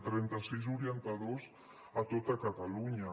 trenta sis orientadors a tota catalunya